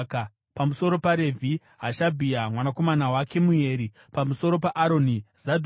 pamusoro paRevhi: Hashabhia mwanakomana waKemueri; pamusoro paAroni: Zadhoki;